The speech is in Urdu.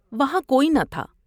وہاں کوئی نہ تھا ۔